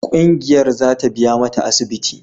Kungiyar za ta biya mata asibiti.